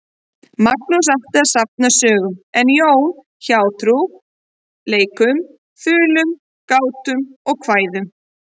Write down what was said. Magnús átti að safna sögum en Jón hjátrú, leikum, þulum, gátum og kvæðum.